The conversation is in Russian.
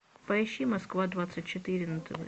поищи москва двадцать четыре на тв